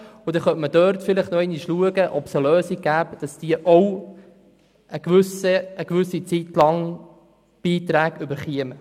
Dort könnte man vielleicht noch einmal schauen, ob es eine Lösung gibt, sodass diese auch für eine gewisse Zeit Beiträge erhalten.